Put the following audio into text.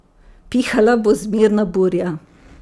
Pihala bo zmerna burja.